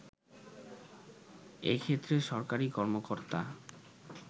এক্ষেত্রে সরকারী কর্মকর্তা